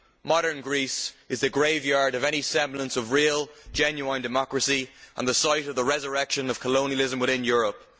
Modern Greece is the graveyard of any semblance of real, genuine democracy and the site of the resurrection of colonialism within Europe.